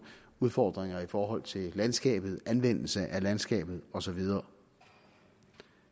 udfordringer i forhold til landskabet anvendelse af landskabet og så videre